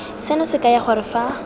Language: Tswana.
seno se kaya gore fa